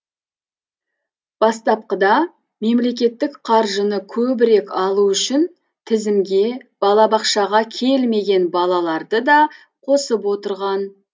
бастапқыда мемлекеттік қаржыны көбірек алу үшін тізімге балабақшаға келмеген балаларды да қосып отырған